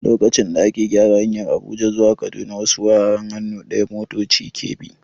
Lokacin da ake gyara hanyar Abuja zuwa Kaduna, wasu wuraren hannu ɗaya motoci ke bi.